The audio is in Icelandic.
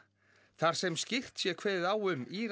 þar sem skýrt sé kveðið á um í